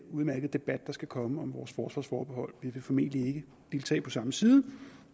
udmærkede debat der skal komme om vores forsvarsforbehold vi vil formentlig ikke deltage på samme side